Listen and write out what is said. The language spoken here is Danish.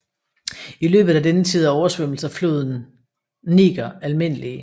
I løbet af denne tid er oversvømmelser floden Niger almindelige